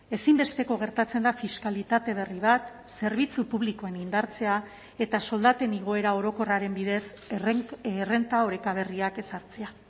ezinbesteko gertatzen da fiskalitate berri bat zerbitzu publikoen indartzea eta soldaten igoera orokorraren bidez errenta oreka berriak ezartzea